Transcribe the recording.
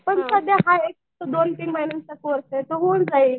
तरी सध्या आहे एक दोन तीन महिन्याचा कोर्स आहे तो होऊन जाईल.